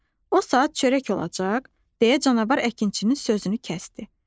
O saat çörək olacaq, deyə canavar əkinçinin sözünü kəsdi.